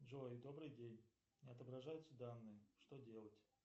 джой добрый день не отображаются данные что делать